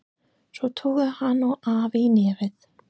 Svo tóku hann og afi í nefið.